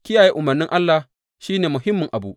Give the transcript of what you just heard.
Kiyaye umarnin Allah shi ne muhimmin abu.